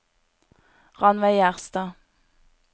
Rannveig Gjerstad